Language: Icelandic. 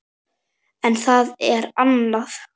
En það er annað.